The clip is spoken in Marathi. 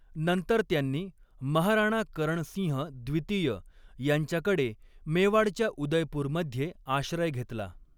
नंतर त्यांनी महाराणा करण सिंह द्वितीय यांच्याकडे मेवाडच्या उदयपूर मध्ये आश्रय घेतला.